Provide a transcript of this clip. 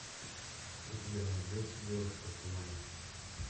у тебя найдется девушка в тумане